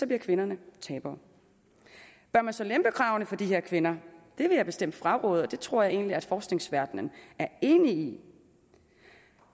bliver kvinderne tabere bør man så lempe kravene for de her kvinder det vil jeg bestemt fraråde og det tror jeg egentlig at forskningsverdenen er enig i